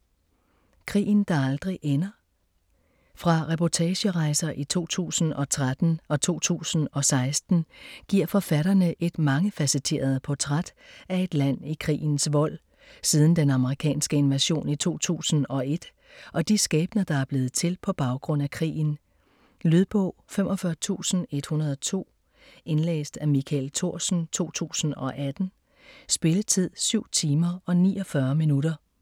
Krigen der aldrig ender Fra reportagerejser i 2013 og 2016 giver forfatterne et mangefacetteret portræt af et land i krigens vold, siden den amerikanske invasion i 2001, og de skæbner der er blevet til på baggrund af krigen. Lydbog 45102 Indlæst af Michael Thorsen, 2018. Spilletid: 7 timer, 49 minutter.